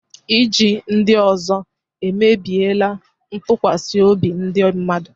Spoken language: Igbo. Iji ndị ọzọ emebiela ntụkwasị obi ndị mmadụ.